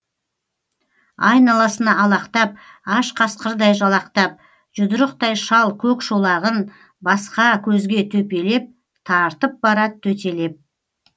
айналасына алақтап аш қасқырдай жалақтап жұдырықтай шал көк шолағын басқа көзге төпелеп тартып барад төтелеп